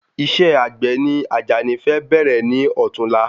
Isẹ́ àgbè ni àjàní fẹ bẹ̀rẹ̀ ní ọ̀tún la